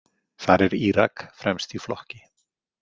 Þar er Írak fremst í flokki.